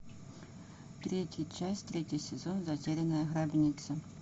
третья часть третий сезон затерянная гробница